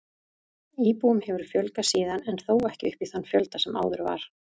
Íbúum hefur fjölgað síðan en þó ekki upp í þann fjölda sem áður var.